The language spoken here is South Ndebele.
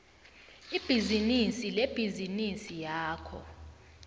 ibhizinisi lebhizinisi yakho